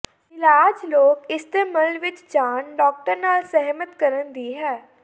ਇਲਾਜ ਲੋਕ ਇਸਤੇਮਲ ਵਿਚ ਜਾਣ ਡਾਕਟਰ ਨਾਲ ਸਹਿਮਤ ਕਰਨ ਦੀ ਹੈ